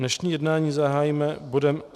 Dnešní jednání zahájíme bodem